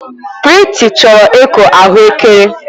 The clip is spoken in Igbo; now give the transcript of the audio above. Prịty chọrọ ịkụ ahụekere.